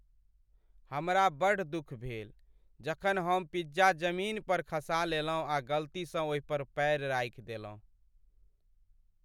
हमरा बड्ड दुख भेल जखन हम पिज्जा जमीन पर खसा लेलहुँ आ गलती सँ ओहि पर पैर राखि देलहुँ।